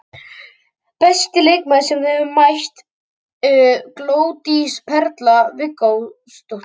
Besti leikmaður sem þú hefur mætt: Glódís Perla Viggósdóttir.